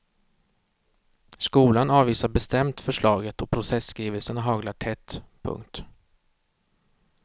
Skolan avvisar bestämt förslaget och protestskrivelserna haglar tätt. punkt